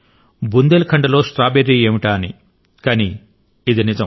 బుందేల్ఖండ్ లో స్ట్రాబెర్రీ ఏంటా అని కానీ ఇది నిజం